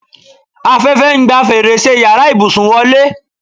Afẹ́fẹ́ ń gba fèrèsé yàrá ìbùsùn wọlé